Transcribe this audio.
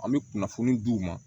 An bɛ kunnafoni di u ma